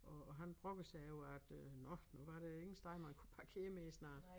Og og han brokkede sig over at øh nåh nu var der ingen steder man kunne parkere mere snart